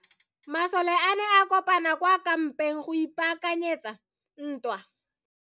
Masole a ne a kopane kwa kampeng go ipaakanyetsa ntwa.